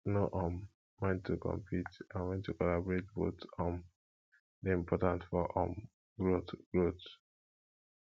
know um when to compete and when to collaborate both um dey important for um growth growth